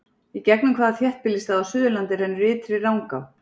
Í gegnum hvaða þéttbýlisstað á Suðurlandi rennur Ytri Rangá?